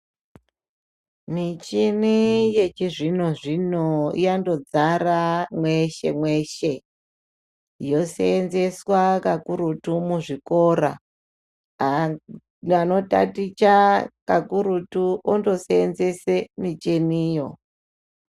Michini yechizvino-zvini yandodzara mweshe-mweshe. Yosenzeswa kakurutu muzvikora haa anotaticha kakurutu ondosenzese micheniyo.